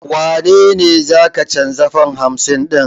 Wane ne za ka canza fam hamsin ɗin?